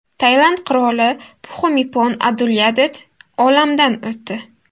Tailand qiroli Pxumipon Adulyadet olamdan o‘tdi.